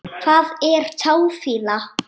Hvað er táfýla?